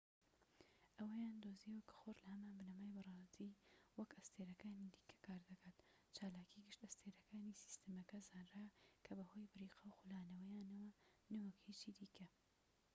ئەوەیان دۆزیەوە کە خۆر لە هەمان بنەمای بنەڕەتی وەک ئەستێرەکانی دیکە کار دەکات چالاکی گشت ئەستێرەکانی سیستەمەکە زانرا کە بەهۆی بریقە و خولانەوەیانە نەوەک هیچی دیکە